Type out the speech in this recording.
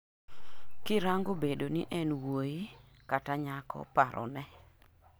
kirango bedo ni en wuoyi kata nyakoparone